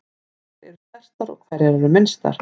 Hverjar eru stærstar og hverjar eru minnstar?